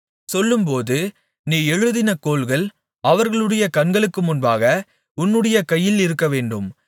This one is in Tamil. சொல்லும்போது நீ எழுதின கோல்கள் அவர்களுடைய கண்களுக்கு முன்பாக உன்னுடைய கையில் இருக்கவேண்டும்